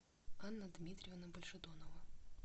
анна дмитриевна большедонова